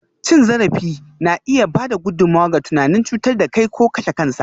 Cin zarafi na iya ba da gudummawa ga tunanin cutar da kai ko kashe kansa.